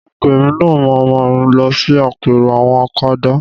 Láìpẹ́ èmi náà ma máa lọ sí àpérò àwọn akadá